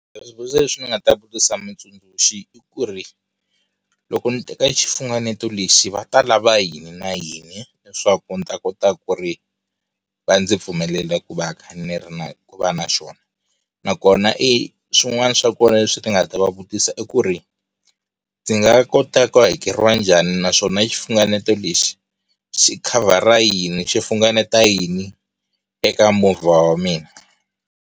Swivutiso leswi ndzi nga ta vutisa mutsundzuxi i ku ri loko ni teka xifunengeto lexi va ta lava yini na yini leswaku ndzi ta kota ku ri va ndzi pfumelela ku va ni kha ni ri ku va na xona nakona i swin'wana swa kona leswi ni nga ta va vutisa i ku ri ndzi nga kota ku hakeriwa njhani naswona xifunengeto lexi xi khavhara yini xi funengeta yini eka movha wa mina.